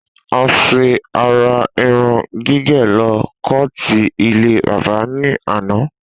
A sé àrà irun gígè ló koọ̀tì ilé bábà ní àná